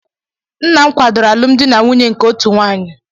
Nna m kwadoro alụmdi na nwunye nke otu nwanyị